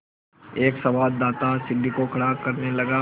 एक संवाददाता सीढ़ी को खड़ा करने लगा